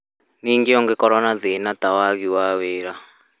ningĩ ũngĩkorwo na thĩna ta wagi wa wĩra